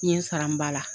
N ye n sara n ba la